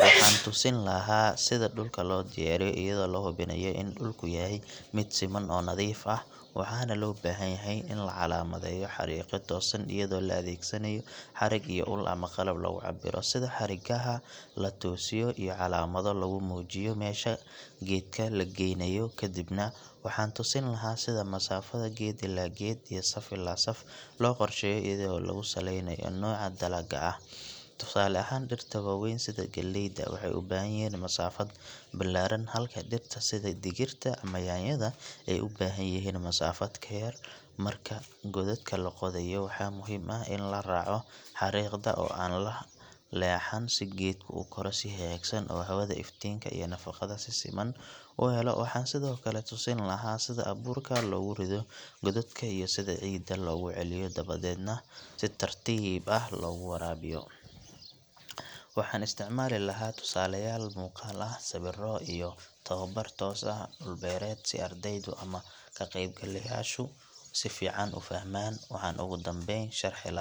waxaan tusin lahaa sida dhulka loo diyaariyo iyadoo la hubinayo in dhulku yahay mid siman oo nadiif ah waxaana loo baahanyahay in la calaamadeeyo xariiqyo toosan iyadoo la adeegsanayo xarig iyo ul ama qalab lagu cabbiro sida xargaha la toosiyo iyo calaamado lagu muujiyo meesha geedka la geynayo kadibna waxaan tusin lahaa sida masaafada geed ilaa geed iyo saf ilaa saf loo qorsheeyo iyadoo lagu saleynayo nooca dalagga ah tusaale ahaan dhirta waaweyn sida galleyda waxay u baahan yihiin masaafad ballaaran halka dhirta sida digirta ama yaanyada ay u baahan yihiin masaafad ka yar marka godadka la qodayo waxaa muhiim ah in la raaco xariiqda oo aan la leexan si geedku u koro si hagaagsan oo hawada iftiinka iyo nafaqada si siman u helo waxaan sidoo kale tusin lahaa sida abuurka loogu rido godadka iyo sida ciidda loogu celiyo dabadeedna si tartiib ah loogu waraabiyo waxaan isticmaali lahaa tusaalayaal muuqaal ah sawirro iyo tababar toos ah dhul beereed si ardaydu ama ka qaybgalayaashu si fiican u fahmaan waxaan ugu dambayn sharxi lahaa .